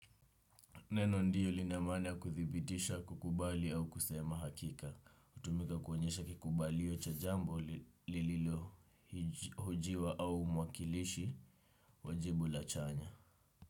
Neno ndiyo lina maana ya kuthibitisha kukubali au kusema hakika. Hutumika kuonyesha kikubalio cha jambo lililohojiwa au mwakilishi wa jibu la chanya.